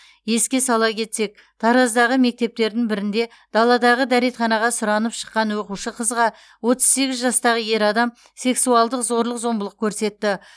еске сала кетсек тараздағы мектептердің бірінде даладағы дәретханаға сұранып шыққан оқушы қызға отыз сегіз жастағы ер адам сексуалдық зорлық зомбылық көрсетті